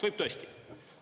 Võib tõesti.